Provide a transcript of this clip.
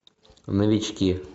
новички